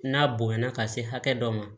N'a bonyana ka se hakɛ dɔ ma